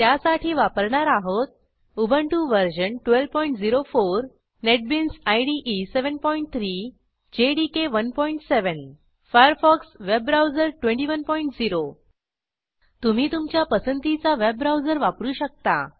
त्यासाठी वापरणार आहोत Ubuntu version 1204 NetBeans IDE 73 JDK 17 Firefox web browser 210 तुम्ही तुमच्या पसंतीचा वेब ब्राऊजर वापरू शकता